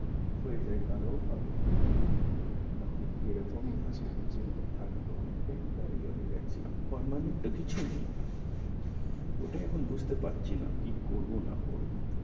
হয়ে যাই তাহলে ও ভালো না হলে কি এরকমই থাকব, এরকমই থাকা তো অনেক tempuary এ হয়ে যাচ্ছে permanent তো কিছুই নেই ওটাও এখন বুঝতে পারছি না কি করব। না করব